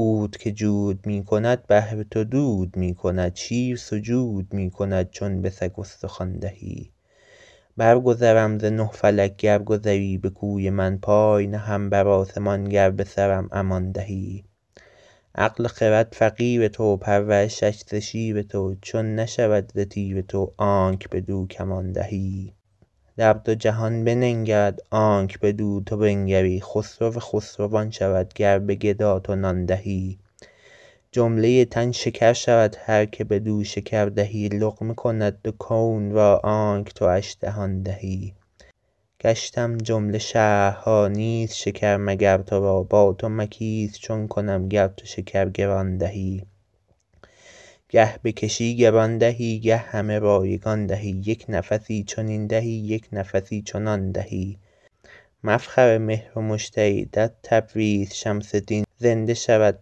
عود که جود می کند بهر تو دود می کند شیر سجود می کند چون به سگ استخوان دهی برگذرم ز نه فلک گر گذری به کوی من پای نهم بر آسمان گر به سرم امان دهی عقل و خرد فقیر تو پرورشش ز شیر تو چون نشود ز تیر تو آنک بدو کمان دهی در دو جهان بننگرد آنک بدو تو بنگری خسرو خسروان شود گر به گدا تو نان دهی جمله تن شکر شود هر که بدو شکر دهی لقمه کند دو کون را آنک تواش دهان دهی گشتم جمله شهرها نیست شکر مگر تو را با تو مکیس چون کنم گر تو شکر گران دهی گه بکشی گران دهی گه همه رایگان دهی یک نفسی چنین دهی یک نفسی چنان دهی مفخر مهر و مشتری در تبریز شمس دین زنده شود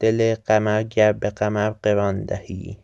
دل قمر گر به قمر قران دهی